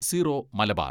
zero Malabar